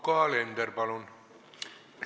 Yoko Alender, palun!